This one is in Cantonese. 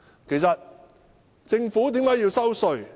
其實政府為甚麼要徵收稅項？